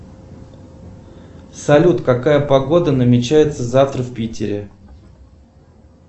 салют какая погода намечается завтра в питере